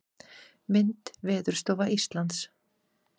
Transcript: Mynd: Veðurstofa Íslands.